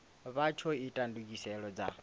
vha tsho ita ndugiselo dza